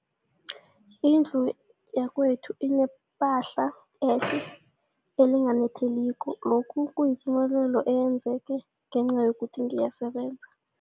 Indlu yakwethu inephahla elihle, elinganetheliko, lokhu kuyipumelelo eyenzeke ngenca yokuthi ngiyasebenza.